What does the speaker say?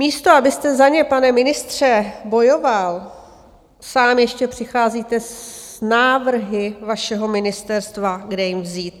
Místo abyste za ně, pane ministře, bojoval, sám ještě přicházíte s návrhy vašeho ministerstva, kde jim vzít.